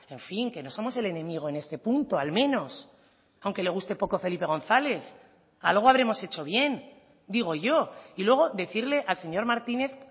en fin que no somos el enemigo en este punto al menos aunque le guste poco felipe gonzález algo habremos hecho bien digo yo y luego decirle al señor martínez